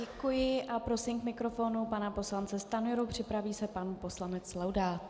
Děkuji a prosím k mikrofonu pana poslance Stanjuru, připraví se pan poslanec Laudát.